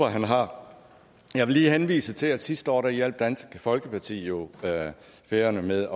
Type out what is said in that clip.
han har jeg vil lige henvise til at sidste år hjalp dansk folkeparti jo færøerne med